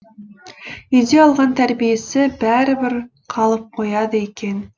үйде алған тәрбиесі бәрібір қалып қояды екен